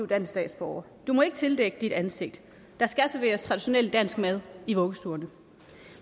dansk statsborger du må ikke tildække dit ansigt der skal serveres traditionel dansk mad i vuggestuerne